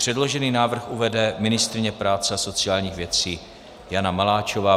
Předložený návrh uvede ministryně práce a sociálních věcí Jana Maláčová.